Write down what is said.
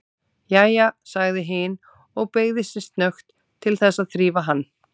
Jæja, sagði hin og beygði sig snöggt til þess að þrífa hann.